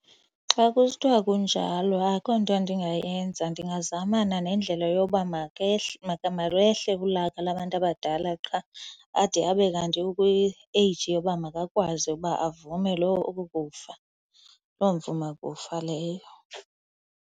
Xa kusithiwa kunjalo akho nto ndingayenza. Ndingazamana nendlela yoba makehle kulaka labantu abadala qha ade abe kanti ukwi-age yoba makakwazi ukuba avume oko kufa, loo mvumakufa leyo.